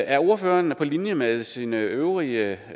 er ordføreren på linje med sine øvrige